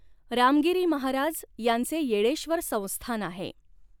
रामगिरी महाराज यांचे येळेश्व़र संस्थान आहे.